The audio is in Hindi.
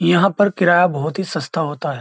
यहां पर किराया बहुत ही सस्ता होता है।